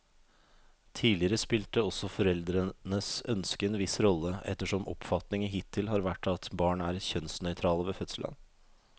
Tidligere spilte også foreldrenes ønske en viss rolle, ettersom oppfatningen hittil har vært at barn er kjønnsnøytrale ved fødselen.